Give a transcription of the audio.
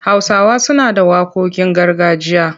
Hausawa suna da waƙoƙin gargajiya.